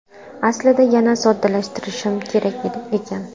Aslida yanada soddalashtirishim kerak ekan.